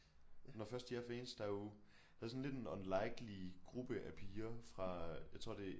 Når først de er fans der er jo der er sådan lidt en unlikely gruppe af piger fra jeg tror det